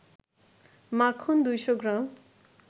মাখন ২০০ গ্রাম